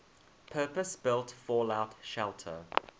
purpose built fallout shelter